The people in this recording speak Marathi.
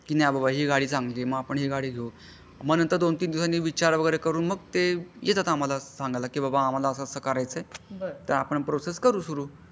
कि नाही बाबा हि गाडी चांगली आहे मग आपण हि गाडी घेऊ मग दोन तीन दिवसांनी विचार वैगेरे करून येतात ते आम्हला सांगायला कि बाबा आम्हला असा असा करायचा आहे आपण करू प्रोसेस सुरू.